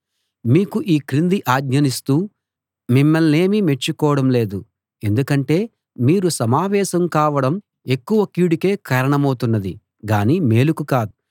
మీకు ఈ క్రింది ఆజ్ఞనిస్తూ మిమ్మల్నేమీ మెచ్చుకోవడం లేదు ఎందుకంటే మీరు సమావేశం కావడం ఎక్కువ కీడుకే కారణమౌతున్నది గానీ మేలుకు కాదు